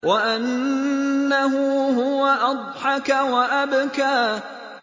وَأَنَّهُ هُوَ أَضْحَكَ وَأَبْكَىٰ